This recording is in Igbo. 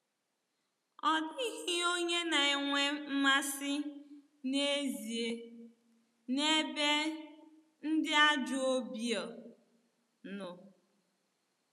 Ọ dịghị onye na-enwe mmasị n’ezie n’ebe “ ndị ajọ obiọ" nọ.